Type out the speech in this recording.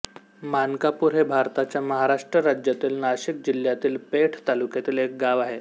माणकापूर हे भारताच्या महाराष्ट्र राज्यातील नाशिक जिल्ह्यातील पेठ तालुक्यातील एक गाव आहे